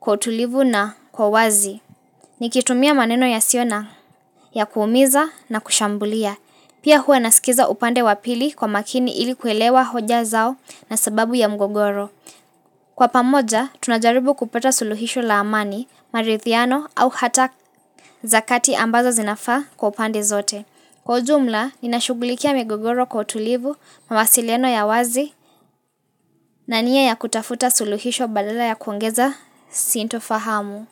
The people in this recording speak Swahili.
kwa utulivu na kwa wazi. Nikitumia maneno yasiyo na ya kuumiza na kushambulia. Pia huwa nasikiza upande wapili kwa makini ili kuelewa hoja zao na sababu ya mgogoro. Kwa pamoja, tunajaribu kupata suluhisho la amani, maridhiano au hata zakati ambazo zinafa kwa pande zote. Kwa ujumla, nina shugulikia migogoro kwa utulivu, mawasiliano ya wazi, na nia ya kutafuta suluhisho badala ya kuongeza, siinto fahamu.